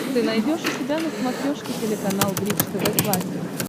ты найдешь у себя на смотрешке телеканал бридж тв классик